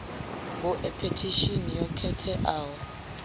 gu e phethishini yo khetheaho